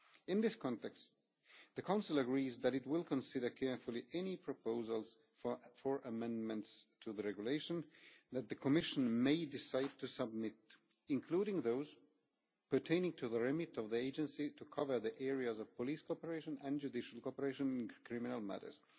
In this context, the Council agrees that it will consider carefully any proposals for amendments to the Regulation that the Commission may decide to submit, including those pertaining to the remit of the Agency to cover the areas of police cooperation and judicial cooperation in criminal matters.